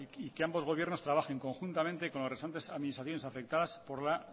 y que ambos gobiernos trabajen conjuntamente con las restantes administraciones afectadas por la